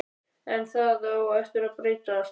En það á eftir að breytast.